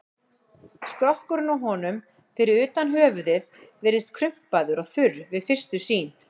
Skrokkurinn á honum, fyrir utan höfuðið, virðist krumpaður og þurr við fyrstu sýn.